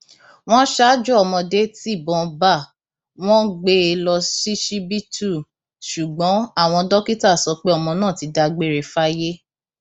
wọn ṣaájò ọmọdé tibọn bá wọn gbé e lọ ṣíṣíbítú ṣùgbọn àwọn dókítà sọ pé ọmọ náà ti dágbére fáyé